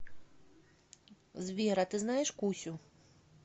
сбер а ты знаешь кусю